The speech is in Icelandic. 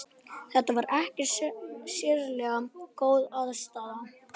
Þetta var ekkert sérlega góð aðstaða.